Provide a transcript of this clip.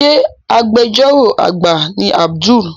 Ṣe Agbẹjọ́rò àgbà ni Abdul?